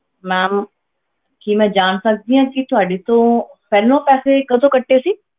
Ma'am ਕੀ ਮੈਂ ਜਾਣ ਸਕਦੀ ਹਾਂ ਕਿ ਤੁਹਾਡੇ ਤੋਂ ਪਹਿਲਾਂ ਪੈਸੇ ਕਦੋਂ ਕੱਟੇ ਸੀ।